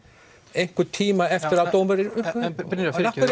einhvern tíma eftir að dómurinn en Brynjar fyrirgefðu